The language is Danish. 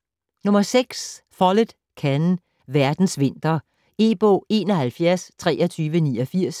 Follett, Ken: Verdens vinter E-bog 712389